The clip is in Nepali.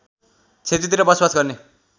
क्षेत्रतिर बसोबास गर्ने